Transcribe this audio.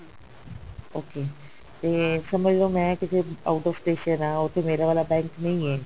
okay ਤੇ ਸਮਝਲੋ ਮੈਂ ਕਿਤੇ out of station ਹਾਂ ਉੱਥੇ ਮੇਰਾ ਵਾਲਾ bank ਨਹੀਂ ਹੈ